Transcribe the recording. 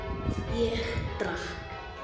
Ég drakk.